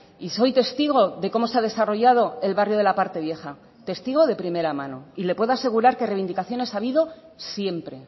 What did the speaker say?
y soy testigo de cómo se ha desarrollado el barrio de la parte vieja testigo de primera mano y le puedo asegurar que reivindicaciones ha habido siempre